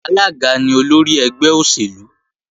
Alága ni olórí ẹgbẹ́ òṣèlú